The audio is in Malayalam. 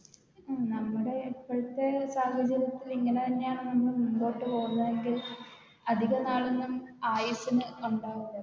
നമ്മുടെ ഇപ്പോഴത്തെ സാഹചര്യത്തില് ഇങ്ങനെ തന്നെയാണ് നമ്മൾ മുമ്പോട്ട് പോകുന്നതെങ്കിൽ അധിക നാളൊന്നും ആയുസ്സിന് ഒണ്ടാവൂല